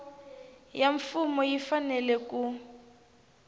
ya mfumo yi fanele ku